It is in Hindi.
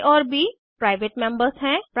आ और ब प्राइवेट मेम्बर्स हैं